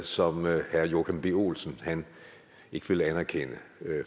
som herre joachim b olsen ikke vil anerkende